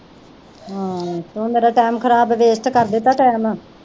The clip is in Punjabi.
ਹਮ ਤੂੰ ਮੇਰਾ ਟੈਮ ਖਰਾਬ ਵੈਸਟ ਕਰ ਦਿੱਤਾ ਟੈਮ